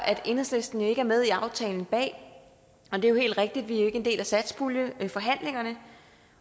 at enhedslisten jo ikke er med i aftalen bag og det er helt rigtigt vi er ikke en del af satspuljeforhandlingerne